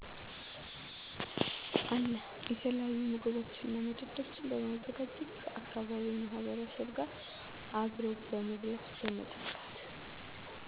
አለ። የተለያዪ ምግቦችንና መጠጦችን በማዘጋጀት ከአካባቢው ማህበረሰብ ጋር አብሮ በመብላት በመጠጣት